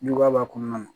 Juguya b'a kɔnɔna na